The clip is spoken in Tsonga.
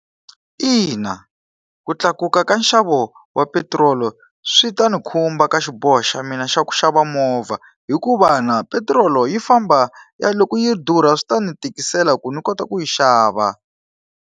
Ina, ku tlakuka ka nxavo wa petiroli swi ta ni khumba ka xiboho xa mina xa ku xava movha, hikuva na petirolo yi famba ya loko yi durha swi ta ni tikisela ku ni kota ku yi xava.